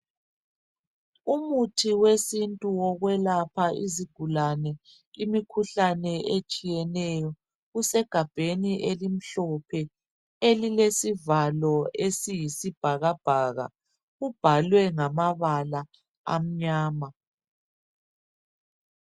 Umuntu wesintu wekwelapha izigulane imikhuhlane etshiyeneyo, usegabheni elimhlophe elilesivalo esiyisi bhakabhaka kubhalwe ngamabala amnyama.